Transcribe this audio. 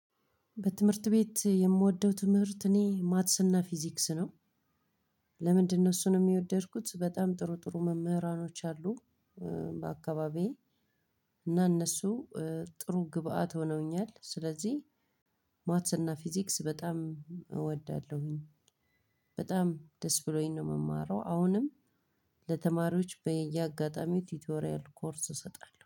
በትምህርት ቤት የምወደው ትምህርት እኔ ማትስና ፊዚክስ ነው። ለምንድነው እሱንም የወደድኩት በጣም ጥሩ ጥሩ መምህራኖች አሉ። በአካባቢዬ እና እነሱ ጥሩ ግብአት ሆነውኛል። ስለዚህ ማትስ እና ፊዚክስ በጣም እወዳለሁኝ። በጣም ደስ ብሎኝ ነው እምማረው አሁንም ለተማሪዎች በየአጋጣሚው ቲቶሪያል ኮርስ እሰጣለሁ።